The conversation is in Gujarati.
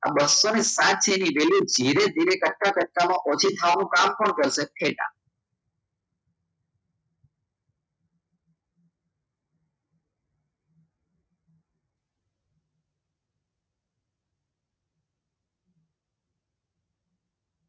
આ બસો સાત છે એની વેલ્યુ ધીરે ધીરે કરતા ઓછી થવાનું કામ કોણ કરશે થેટા